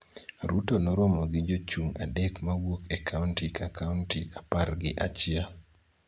Ruto noromo gi jochung� adek ma wuok e kaonti ka kaonti apar gi achiel